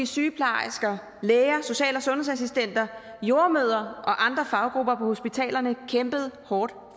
sygeplejersker læger social og sundhedsassistenter jordemødre og andre faggrupper på hospitalerne kæmpede hårdt